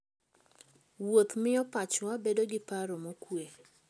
Wuoth miyo pachwa bedo gi paro mokuwe.